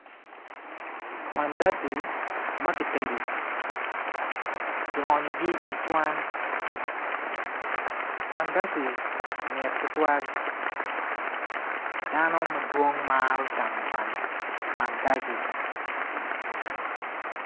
Mandaci ma ki tedu ki onyogi icwan mandaci mit tutwal dano madwong Maro camo mandaci